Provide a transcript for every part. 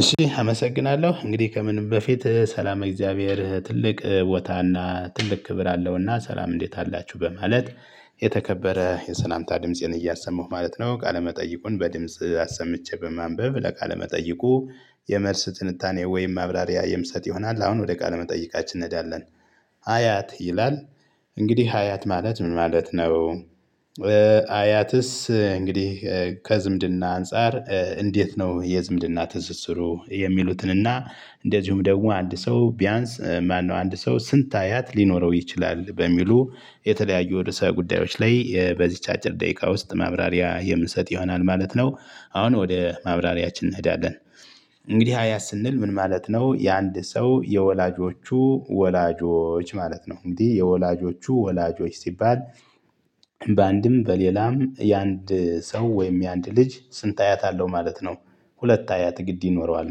እሺ አመሰግናለሁ እንግዲህ ከምንም በፊት ሰላም እግዚአብሔር ትልቅ ቦታና ትልቅ ክብር አለውና ሰላም እንዴት አላችሁ በማለት የተከበረ የሰላምታ ድምፄን እያሰሙህ ማለት ነው። ቃለመጠይቁን በድምጽ ኣሰምቼ በማንበብ ለቃለመጠይቁ የመልስ ትንታኔ ወይም ማብራሪያ ይምሰጥ ይሆናል አሁን ወደ ቃለመጠይቃችን እንሄዳለን። አያት ይላል። እንግዲህ አያት ማለት ምን ማለት ነው? አያትስ እንግዲህ ከዝምድና አንፃር እንዴት ነው የዝምድና ትስስሩ የሚሉትን እና እንደዚሁም ደግሞ አንድ ሰው ቢያንስ ማነው? አንድ ሰው ስንት አያት ሊኖረው ይችላል? በሚሉ የተለያዩ የርዕሰ ጉዳዮች የ በዚች አጭር ደቂቃ ውስጥ ማብራሪያ የምንሰጥ ይሆናል ማለት ነው። አሁን ወደ ማብራሪያችን እንሄዳለን። እንግዲህ አያት ስንል ምን ማለት ነው? የአንድ ሰው የወላጆቹ ወላጆች ማለት ነው። እንግዲህ የወላጆቹ ወላጆች ሲባል በአንድም በሌላም የአንድ ሰው ወይም የአንድ ልጅ ስንት አያት አለው ማለት ነው። ሁለት አያት ግድ ይኖረዋል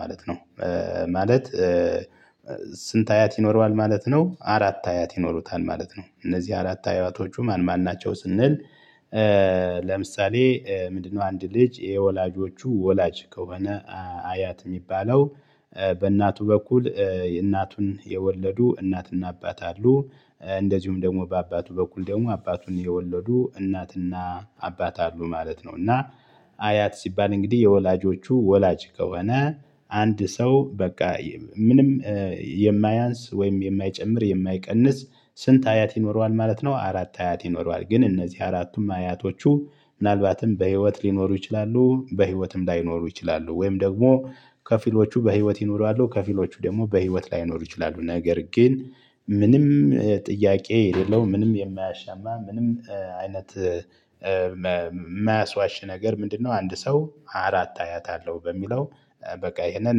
ማለት ነው። ማለት ስንት አያት ይኖረዋል ማለት ነው። አራት አያት ይኖሩታል ማለት ነው። እነዚህ አራት አያቶች ማን ማን ናቸው? ስንል ለምሳሌ ምንድነው አንድ ልጅ የወላጆቹ ወላጅ ከሆነ አያት የሚባለው። በእናቱ በኩል እናቱን የወለዱ እናትና አባት አሉ። እንደዚሁም ደግሞ በአባቱ በኩል ደግሞ አባቱን የወለዱ እናትና አባት አሉ ማለት ነው። እና አያት ሲባል እንግዲህ የወላጆቹ ወላጅ ከሆነ አንድ ሰው በቃ ምንም የማያንስ ወይም የማይጨምር የማይቀንስ ስንት አያት ይኖረዋል ማለት ነው። አራት አያት ይኖረዋል ግን እነዚህ አራቱም አያቶቹ ምናልባትም በህይወት ሊኖሩ ይችላሉ በህይወትም ላይኖሩ ይችላሉ። ወይም ደግሞ ከፊሎቹ በህይወት ይኖራሉ ከፊሎቹ ደግሞ በህይወት ላይኖሩ ይችላሉ። ነገር ግን ምንም ጥያቄ የሌለው ምንም የማያሻማ ምንም አይነት ማያስዋሽ ነገር ምንድነው? አንድ ሰው አራት አያት አለው በሚለው በቃ ይሄንን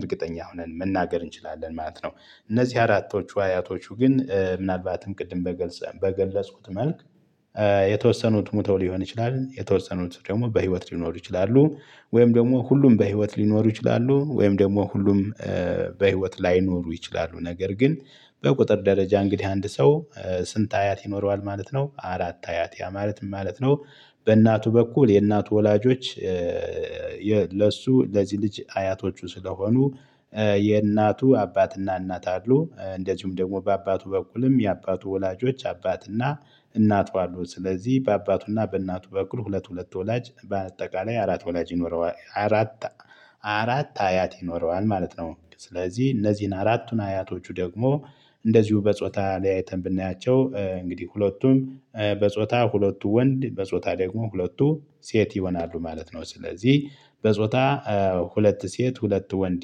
እርግጠኛ ሆነን መናገር እንችላለን ማለት ነው። እነዚህ አራቶቹ አያቶቹ ግን ምናልባትም ቅድም በገለጽኩት መልክ የተወሰኑት ሞተው ሊሆን ይችላል። የተወሰኑት ደግሞ በህይወት ሊኖሩ ይችላሉ። ወይም ደግሞ ሁሉም በህይወት ሊኖሩ ይችላሉ ወይም ደግሞ ሁሉም በህይወት ላይኖሩ ይችላሉ። ነገር ግን በቁጥር ደረጃ እንግዲህ አንድ ሰው ስንት አያት ይኖረዋል ማለት ነው። አራት አያት ያ ማለት ምን ማለት ነው? በእናቱ በኩል የእናቱ ወላጆች። ለሱ ለዚህ ልጅ አያቶቹ ስለሆኑ የእናቱ አባትና እናት አሉ እንደዚሁም ደግሞ በአባቱ በኩልም የአባቱ ወላጆች አባትና እናቷ አሉ። ስለዚህ በአባቱና በእናቱ በኩል ሁለት ሁለት ወላጅ በአጠቃላይ አራት ወላጅ ይኖረዋል አራት አራት አያት ይኖረዋል ማለት ነው። ስለዚህ እነዚህን አራቱን አያቶቹ ደግሞ እንደዚሁ በጾታ ለያይተን ብናያቸው እንግዲህ ሁለቱም በጾታ ሁለቱ ወንድ በጾታ ደግሞ ሁለቱ ሴት ይሆናሉ ማለት ነው። ስለዚህ በጾታ ሁለት ሴት ሁለት ወንድ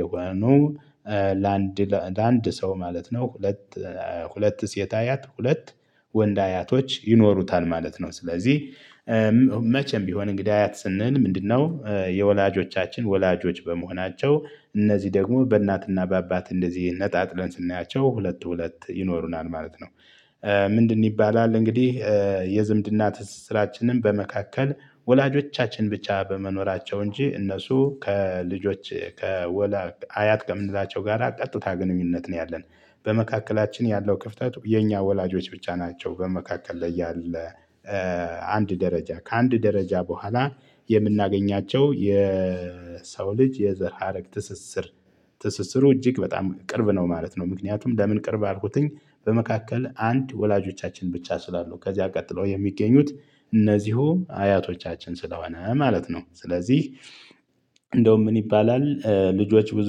የሆኑ ለአንድ ለአንድ ሰው ማለት ነው ሁለት ሁለት ሴት አያት ሁለት ወንድ አያቶች ይኖሩታል ማለት ነው። ስለዚህ መቼም ቢሆን እንግዲ አያት ስንል ምንድነው? የወላጆቻችን ወላጆች በመሆናቸው እነዚህ ደግሞ በእናትና በአባት እንደዚህ ነጣጥለን ስናያቸው ሁለት ሁለት ይኖሩናል ማለት ነው። ምንድን ይባላል እንግዲህ የዝምድና ትስስራችንን በመካከል ወላጆቻችን ብቻ በመኖራቸው እንጂ እነሱ ከልጆች ከወላ አያት ከምንላቸው ጋር ቀጥታ ግንኙነት ነው። ያለን በመካከላችን ያለው ክፍተት የኛ ወላጆች ብቻ ናቸው በመካከል ላይ ያለ። አንድ ደረጃ ከአንድ ደረጃ በኋላ የምናገኛቸው የሰው ልጅ የዘር ሀረግ ትስስር። ትስስሩ እጅግ በጣም ቅርብ ነው ማለት ነው። ምክንያቱም ለምን ቅርብ አልኩትኝ? በመካከል አንድ ወላጆቻችን ብቻ ስላሉ ከዚያ ቀጥለው የሚገኙት እነዚሁ አያቶቻችን ስለሆነ ማለት ነው። ስለዚህ እንደውም ምን ይባላል ልጆች ብዙ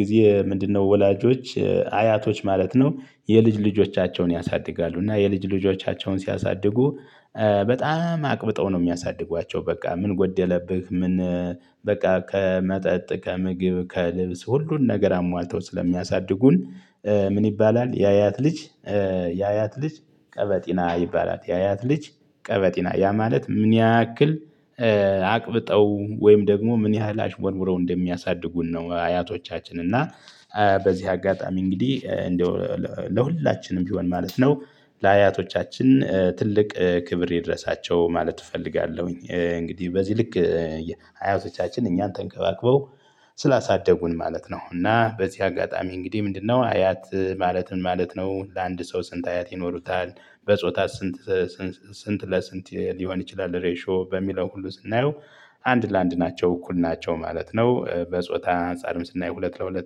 ጊዜ ምንድነው ወላጆች አያቶች ማለት ነው። የልጅ ልጆቻቸውን ያሳድጋሉ እና የልጅ ልጆቻቸውን ሲያሳድጉ። በጣም አቅብጠው ነው የሚያሳድጓቸው። በቃ ምን ጎደለብህ ምን በቃ ከመጠጥ ከምግብ ከልብስ ሁሉን ነገር አሟልተው ስለሚያሳድጉን። ምን ይባላል? ያያት ልጅ ያያት ልጅ ቀበጢና ይባላል። ያያት ልጅ ቀበጢና ያ ማለት ምን ያክል? አቅብጠው ወይም ደግሞ ምን ያህል አሽመርውረው እንደሚያሳድጉን ነው። አያቶቻችን እና በዚህ አጋጣሚ እንግዲህ እንደው ለሁላችንም ቢሆን ማለት ነው። ለአያቶቻችን ትልቅ ክብር ይድረሳቸው ማለት እፈልጋለሁኝ። እንግዲህ በዚህ ልክ አያውቶቻችን እኛን ተንከባክበው ስላሳደጉን ማለት ነው። እና በዚህ አጋጣሚ እንግዲህ ምንድነው አያት ማለት ምን ማለት ነው? ለአንድ ሰው ስንት አያት ይኖሩታል? በጾታ ስንት ስንት ለስንት ሊሆን ይችላል? ሬሾ በሚለው ሁሉ ስናየው አንድ ለአንድ ናቸው እኩል ናቸው ማለት ነው። በጾታ አንፃርም ስናየው ሁለት ለሁለት